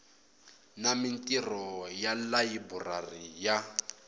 na mintirho ya layiburari ya